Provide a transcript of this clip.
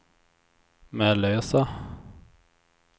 Mellösa